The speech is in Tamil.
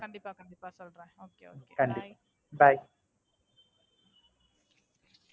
Bye.